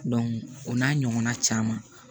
o n'a ɲɔgɔnna caman